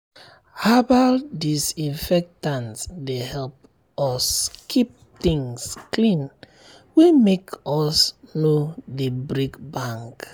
herbal disinfectant dey help um us keep things clean wey make um us no dey break bank.